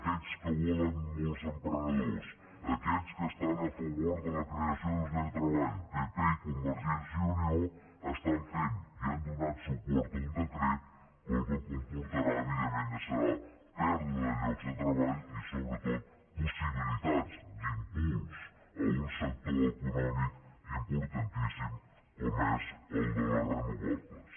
aquests que volen molts emprenedors aquests que estan a favor de la creació de llocs de treball pp i convergència i unió estan fent i han donat suport a un decret que el que comportarà evidentment serà pèrdua de llocs de treball i sobretot possibilitats d’impuls d’un sector econòmic importantíssim com és el de les renovables